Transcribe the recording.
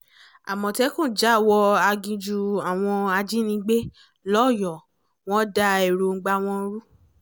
àmọ̀tẹ́kùn já wọ aginjù àwọn ajìnígbé lọ́yọ̀ọ́ wọn da èròǹgbà wọn rú